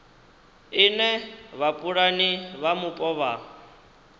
ine vhapulani vha mupo vha